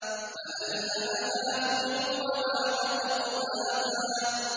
فَأَلْهَمَهَا فُجُورَهَا وَتَقْوَاهَا